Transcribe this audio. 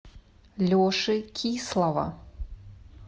леши кислова